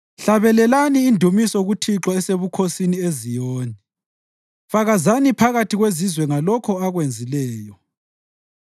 Hlabelelani indumiso kuThixo esebukhosini eZiyoni; fakazani phakathi kwezizwe ngalokho akwenzileyo.